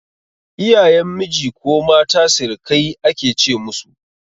Iyayen miji ko mata sirikai ake ce musu